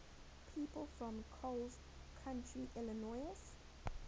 people from coles county illinois